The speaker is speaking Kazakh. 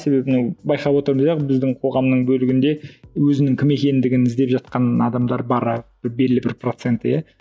себебі мынау байқап отырмыз иә біздің қоғамның бөлігінде өзінің кім екендігін іздеп жатқан адамдар бары белгілі бір процент иә